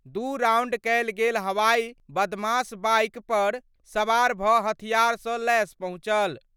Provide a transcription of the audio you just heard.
दू राउंड कयल गेल हवाई बदमाश बाइक पर सवार भ' हथियार सं लैस पहुंचल।